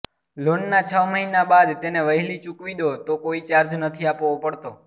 લોનના છ મહિના બાદ તેને વહેલી ચૂકવી દો તો કોઈ ચાર્જ નથી આપવો પડતો